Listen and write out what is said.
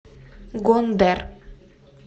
гондэр